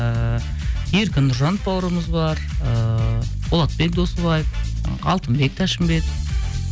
ііі еркін нұржанов бауырымыз бар ыыы болатбек досыбаев ы алтынбек тәшінбетов